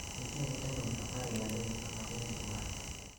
Nitie vitamin 13 ma dendi dwaro.